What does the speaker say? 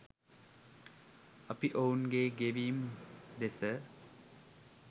අපි ඔවුන්ගේ ගෙවීම් දෙස